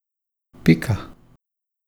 Pika.